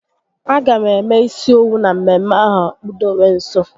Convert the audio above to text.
A ga m eme isi owu na mmemme ahụ kpudewe nso